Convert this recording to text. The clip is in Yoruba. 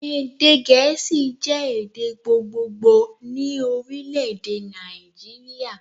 Èdè gèésì jẹ́ èdè gbogbogbò ni Orílèdè Nàìjíríà